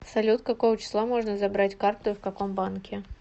салют какого числа можно забрать карту и в каком банке